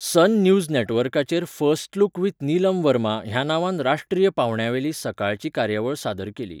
सन News नॅटवर्काचेर first look with Neelam Verma ह्या नांवान राष्ट्रीय पावंड्यावेली सकाळची कार्यावळ सादर केली.